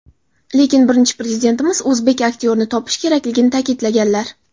Lekin Birinchi Prezidentimiz o‘zbek aktyorini topish kerakligini ta’kidlaganlar.